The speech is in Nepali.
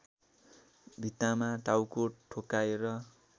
भित्तामा टाउको ठोक्काएर